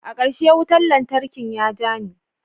Akarshe wutan lantarki ya ja ni.